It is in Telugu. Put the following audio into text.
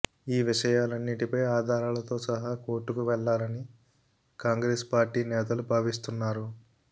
ఈ విషయాలన్నింటిపై ఆధారాలతో సహా కోర్టుకు వెళ్లాలని కాంగ్రెస్ పార్టీ నేతలు భావిస్తున్నారు